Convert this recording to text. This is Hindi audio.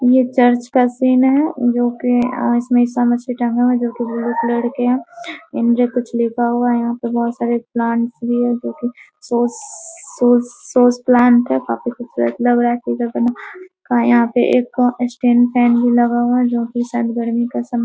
यह चर्च का सीन है जो कि इसमें इशाम्शी टांगा हुआ है जो कि ब्लू कलर के है इंजर कुछ लिखा हुआ हैं यहाँ पे बहुत सारे प्लांट्स भी हैं जो कि प्लांट हैं काफ़ी खुबसूरत लग रहा हैं का यहाँ पे एक भी लगा हुआ है जो कि